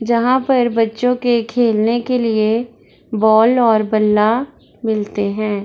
जहाँ पर बच्चो के खेलने के लिए बॉल और बल्ला मिलते हैं।